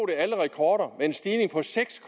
alle rekorder med en stigning på seks